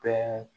Bɛn